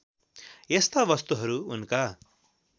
यस्ता वस्तुहरू उनका